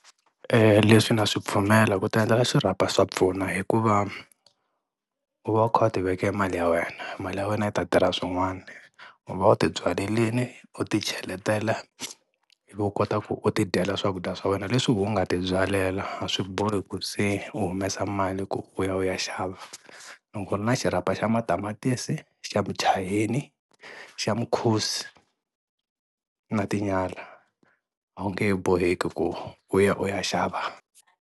Eya, leswi na swi pfumela ku ti endlela xirhapa swa pfuna hikuva u va kha u ti vekela mali ya wena, mali ya wena yi ta tirha swin'wana u va u ti byalelini u ti cheletela ivi u kota ku u tidyela swakudya swa wena leswi wehe u nga ti byalela a swi bohi ku se u humesa mali ku u ya u ya xava. Loko u ri na xirhapa xa Matamatisi xa Muchayeni xa Mukhusi na Tinyala a wu nge he boheki ku u ya u ya xava.